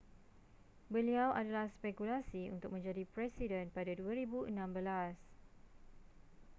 beliau adalah spekulasi untuk menjadi presiden pada 2016